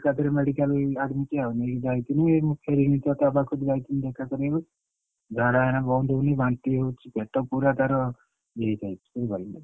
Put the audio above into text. ଏକାବେଳେ medical admit ଆଉ ନେଇକି ଯାଇଥିଲି ଏଇ ଯୋଉ ଫେରିକି କଟକ ପାଖକୁ ଯାଇଥିଲି ଦେଖା କରିବାକୁ ଝାଡା ଏଇନା ବନ୍ଦହଉନି ବାନ୍ତି ହଉଛି ପେଟ ପୁରା ତାର ଇଏହେଇଯାଇଛି ବୁଝିପାରିଲନା।